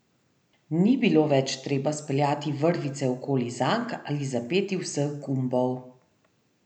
Ni bilo več treba speljati vrvice okoli zank ali zapeti vseh gumbov.